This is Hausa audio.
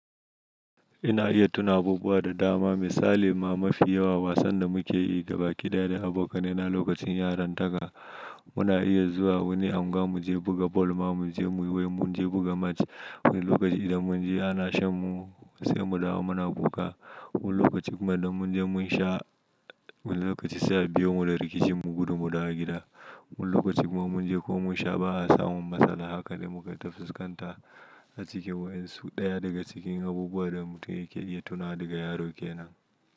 Ina iya tuna abubuwa da dama. Misali ma mafi yawa wasan da muke yi gaba kidaya da abokanai na lokacin yaran taka. Muna iya zuwa wani anguwa mu je buga bal ma mu je mu wai mu je buga match. Wani lokaci idan mun je ana shan mu sai mu dawo muna kuka. Wani lokaci kuma idan mun je mun sha wani lokaci sai a biyo mu da rikici mu gudu mu dawo gida. Wani lokaci kuma mun je ko mun sha ba a samo matsala haka dai muka tafi sukanta a cikin wayan. So ɗaya daga cikin abubuwan da mutum yake iya tunawa daga yarokenan.